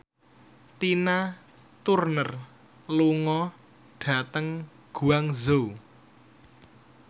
Tina Turner lunga dhateng Guangzhou